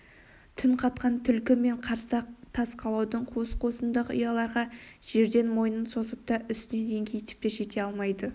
түн қатқан түлкі мен қарсақ тас қалаудың қуыс-қуысындағы ұяларға жерден мойнын созып та үстінен еңкейіп те жете алмайды